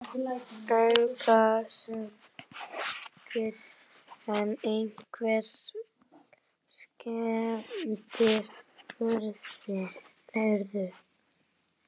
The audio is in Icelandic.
Engan sakaði en einhverjar skemmdir urðu